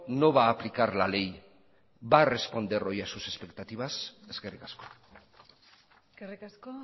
no va a aplicar la ley va a responder hoy a sus expectativas eskerrik asko eskerrik asko